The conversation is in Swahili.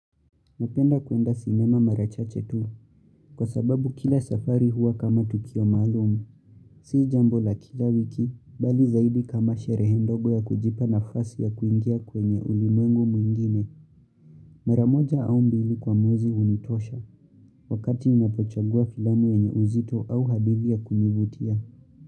Napenda kuenda sinema mara chache tu, kwa sababu kila safari hua kama tukio malumu. Si jambo la kila wiki, bali zaidi kama sherehe ndogo ya kujipa nafasi ya kuingia kwenye ulimwengu mwingine. Mara moja au mbili kwa muwezi unitosha, wakati ninapochagua filamu yenye uzito au hadithi ya kunivutia.